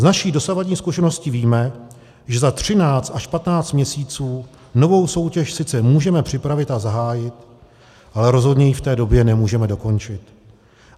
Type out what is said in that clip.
Z naší dosavadní zkušenosti víme, že za 13 až 15 měsíců novou soutěž sice můžeme připravit a zahájit, ale rozhodně ji v té době nemůžeme dokončit.